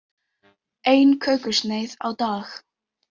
Ein kökusneið á dag